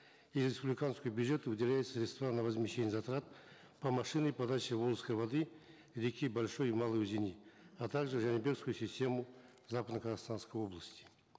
из республиканского бюджета выделяются средства на возмещение затрат по машинной подаче волжской воды реки большой и малой узеней а также в жанибекскую систему западно казахстанской области